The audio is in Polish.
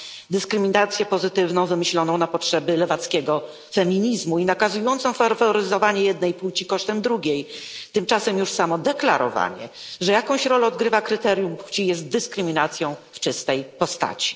dyskryminację pozytywną wymyśloną na potrzeby lewackiego feminizmu i nakazującą faworyzowanie jednej płci kosztem drugiej. Tymczasem już samo deklarowanie, że jakąś rolę odgrywa kryterium płci jest dyskryminacją w czystej postaci.